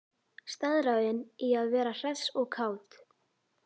Staðráðin í að vera hress og kát.